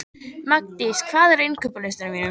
Magndís, hvað er á innkaupalistanum mínum?